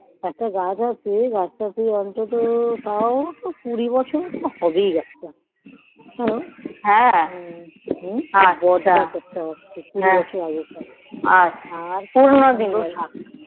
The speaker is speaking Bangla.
একটা গাছ আছে সেটা অন্তত কুড়ি বছরের তো হবেই সেই গাছ তা